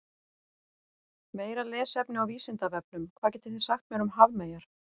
Meira lesefni á Vísindavefnum: Hvað getið þið sagt mér um hafmeyjar?